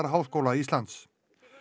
Háskóla Íslands